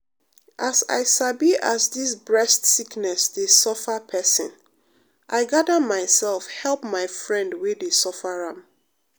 as i sabi as dis breast sickness dey suffer pesin i gada myself help my friend wey dey suffer am.